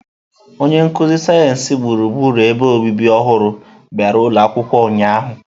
Onye nkuzi sayensị gburugburu ebe obibi ọhụrụ bịara ụlọ akwụkwọ ụnyahụ.